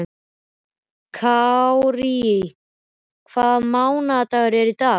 Kárí, hvaða mánaðardagur er í dag?